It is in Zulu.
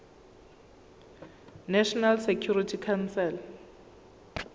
national security council